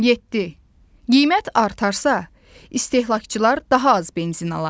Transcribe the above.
Yeddi: Qiymət artarsa, istehlakçılar daha az benzin alar.